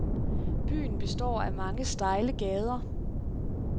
Byen består af mange stejle gader.